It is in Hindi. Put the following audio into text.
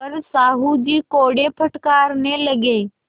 पर साहु जी कोड़े फटकारने लगे